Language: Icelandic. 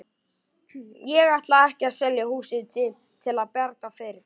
Ég ætla ekki að selja húsið til að bjarga fyrirtækinu.